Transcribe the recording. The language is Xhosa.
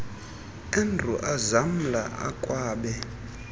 andrew ezamla akwabe